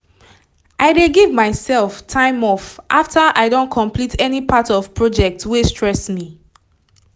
i dey give myself time off after i don complete any part of project wey stress me